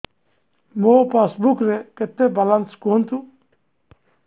ମୋ ପାସବୁକ୍ ରେ କେତେ ବାଲାନ୍ସ କୁହନ୍ତୁ